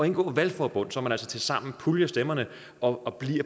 indgå valgforbund så man altså tilsammen puljer stemmerne og